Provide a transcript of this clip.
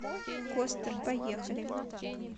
костер поехали